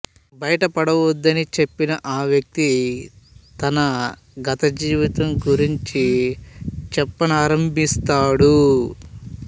భయపడవద్దని చెప్పిన ఆవ్యక్తి తన గత జీవితం గురించి చెప్పనారంభిస్తాడు